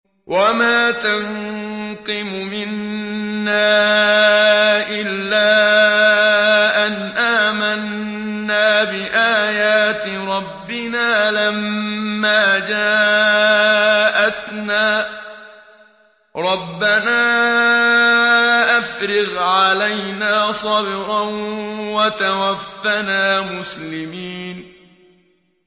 وَمَا تَنقِمُ مِنَّا إِلَّا أَنْ آمَنَّا بِآيَاتِ رَبِّنَا لَمَّا جَاءَتْنَا ۚ رَبَّنَا أَفْرِغْ عَلَيْنَا صَبْرًا وَتَوَفَّنَا مُسْلِمِينَ